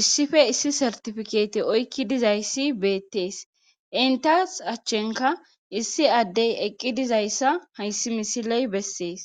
issife issi sartifikeeti oykki dizayssi beettees intas achchenka issi addey eqqi dizayssa hayssi misiley bessees